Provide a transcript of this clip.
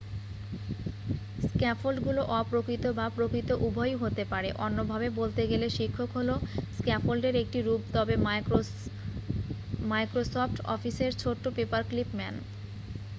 স্ক্যাফোল্ডগুলো অপ্রকৃত বা প্রকৃত উভয়ই হতে পারে অন্য ভাবে বলতে গেলে শিক্ষক হলো স্ক্যাফোল্ডের একটি রূপ তবে মাইক্রোসফ্ট অফিসের ছোট্ট পেপার ক্লিপ ম্যান